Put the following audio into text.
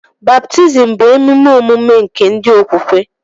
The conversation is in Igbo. Baptizim bụ emume ọmụmụ nke ndi okwukwe